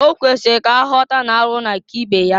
Okwesiri ka aghọta n'arụ na-aka ibe ya.